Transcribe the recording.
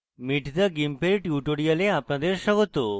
meet the gimp এর tutorial আপনাদের স্বাগত